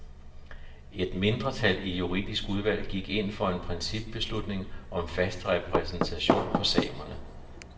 Et mindretal i juridisk udvalg gik ind for en principbeslutning om fast repræsentation for samerne.